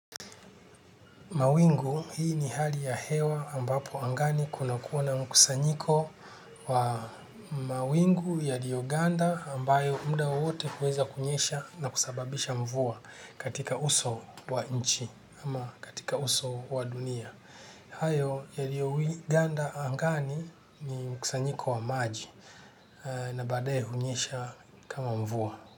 Mawingu hii ni hali ya hewa ambapo angani kunakuwa na mkusanyiko wa mawingu yaliyoganda ambayo muda wote huweza kunyesha na kusababisha mvua katika uso wa nchi ama katika uso wa dunia. Hayo yaliyoganda angani ni mkusanyiko wa maji na baadaye hunyesha kama mvua.